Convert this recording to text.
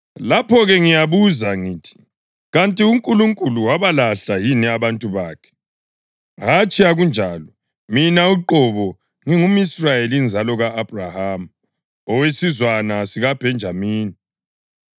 Lapho-ke ngiyabuza ngithi: Kanti uNkulunkulu wabalahla yini abantu bakhe? Hatshi akunjalo! Mina uqobo ngingumʼIsrayeli inzalo ka-Abhrahama, owesizwana sikaBhenjamini.